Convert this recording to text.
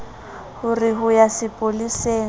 ho re ho ya sepoleseng